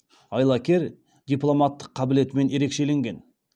айлакер дипломаттық қабілетімен ерекшеленген